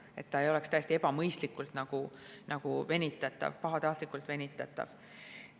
See ei tohi olla täiesti ebamõistlikult venitatav, pahatahtlikult venitatav.